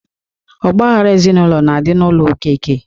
Ọgba aghara ezinụlọ na-adị n'ụlọ okeke